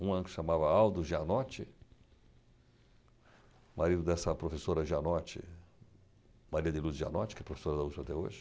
Um, que se chamava Aldo Janotti, marido dessa professora Janotti, Maria de Luz Janotti, que é professora da USP até hoje,